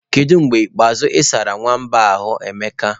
Kedu mgbe ikpeazụ ị sara nwamba a ahu, Emeka?